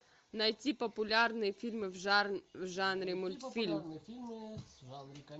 найти популярные фильмы в жанре мультфильм